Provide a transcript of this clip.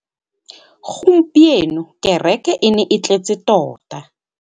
Gompieno kêrêkê e ne e tletse tota.